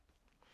DR K